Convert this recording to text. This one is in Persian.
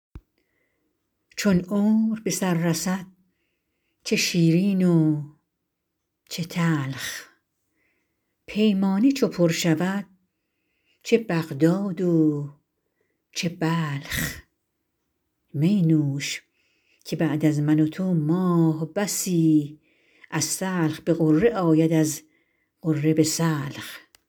چون عمر به سر رسد چه شیرین و چه تلخ پیمانه چو پر شود چه بغداد و چه بلخ می نوش که بعد از من و تو ماه بسی از سلخ به غره آید از غره به سلخ